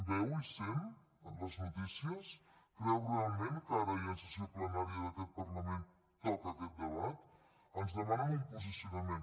veu i sent les notícies creu realment que ara i en sessió plenària d’aquest parlament toca aquest debat ens demanen un posicionament